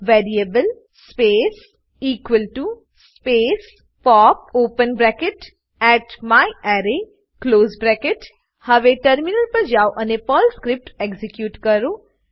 variable space space pop open bracket myArray close bracket હવે terminal પર જાઓ અને પર્લ સ્ક્રીપ્ટ એક્ઝીક્યુટ કરો